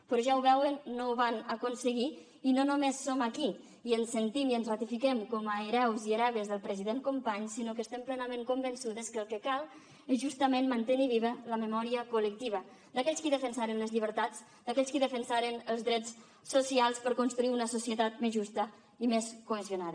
però ja ho veuen no ho van aconseguir i no només som aquí i ens sentim i ens ratifiquem com a hereus i hereves del president companys sinó que estem plenament convençudes que el que cal és justament mantenir viva la memòria col·lectiva d’aquells qui defensaren les llibertats d’aquells qui defensaren els drets socials per construir una societat més justa i més cohesionada